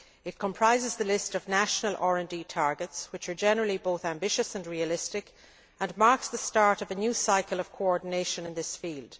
It comprises the list of national RD targets, which are generally both ambitious and realistic and marks the start of a new cycle of coordination in this field.